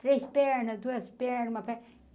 Três pernas, duas pernas, uma perna.